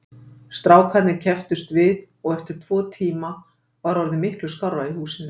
Strákarnir kepptust við og eftir tvo tíma var orðið miklu skárra í húsinu.